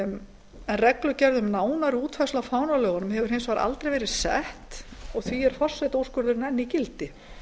en reglugerð um nánari útfærslu á fánalögunum hefur hins vegar aldrei verið sett og er því forsetaúrskurðurinn enn í gildi